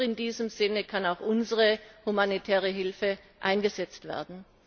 Nur in diesem Sinne kann auch unsere humanitäre Hilfe eingesetzt werden.